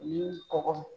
U kɔgɔ